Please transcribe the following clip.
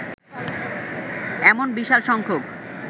এমন বিশাল সংখ্যক